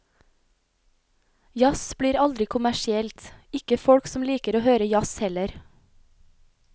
Jazz blir aldri kommersielt, ikke folk som liker å høre jazz heller.